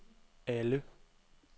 alle